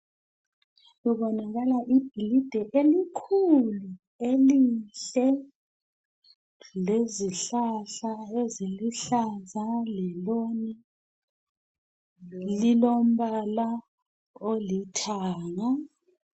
Kubonakala ibhilidi elikhulu elihle, lezihlahla eziluhlaza le loni. Lilombala olithanga.